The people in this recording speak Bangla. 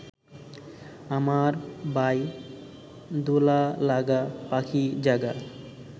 আমার বাই; দোলা-লাগা, পাখী-জাগা